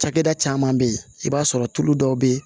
Cakɛda caman be yen i b'a sɔrɔ tulu dɔw be yen